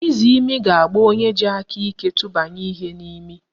Izimi ga-agba onye ji aka iko tụbanye ihe n'imi